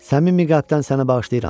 Səmimi qəlbdən səni bağışlayıram.